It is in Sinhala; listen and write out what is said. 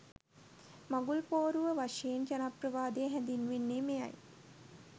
මඟුල් පෝරුව වශයෙන් ජනප්‍රවාදයේ හැඳින්වෙන්නේ මෙයයි.